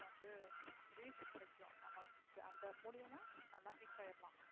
நமக்கு வந்து reach கிடைக்கும் நம்ம அந்த மூலமா நல்லா peak ஆயிடலாம்.